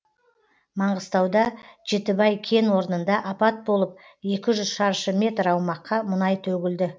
маңғыстауда жетібай кен орнында апат болып екі жүз шаршы метр аумаққа мұнай төгілді